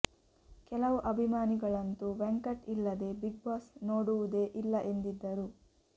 ಕೆಲವು ಅಭಿಮಾನಿಗಳಂತೂ ವೆಂಕಟ್ ಇಲ್ಲದೆ ಬಿಗ್ ಬಾಸ್ ನೋಡುವುದೇ ಇಲ್ಲ ಎಂದಿದ್ದರು